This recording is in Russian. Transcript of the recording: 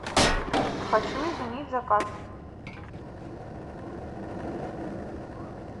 хочу изменить заказ